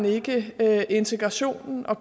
ikke integrationen og